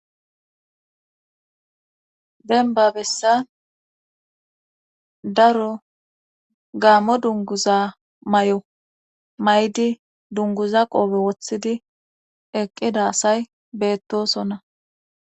Denba bessa daro gaammo dunguza may7o may7di dunguza qoobe wothidi eqqida asay beettosonna